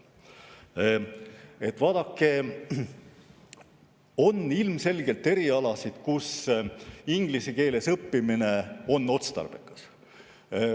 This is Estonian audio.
Vaadake, ilmselgelt on erialasid, kus inglise keeles õppimine on otstarbekas.